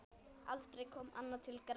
Aldrei kom annað til greina.